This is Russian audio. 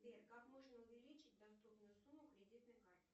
сбер как можно увеличить доступную сумму кредитной карты